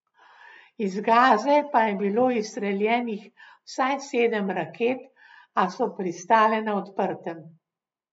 Iz Gaze pa je bilo izstreljenih vsaj sedem raket, a so pristale na odprtem.